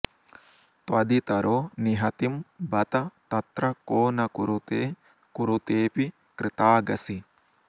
त्वदितरो निहतिं बत तत्र को न कुरुते कुरुतेऽपि कृतागसि